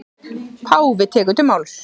Páfi tekur til máls.